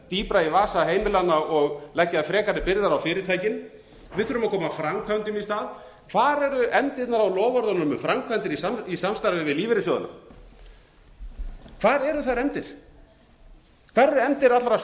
dýpra í vasa heimilanna og leggja frekari byrðar á fyrirtækin við þurfum að koma framkvæmdum í stað hvar eru efndirnar á loforðunum um framkvæmdir í samstarfi við lífeyrissjóðina hvar eru þær efndir hvar eru efndir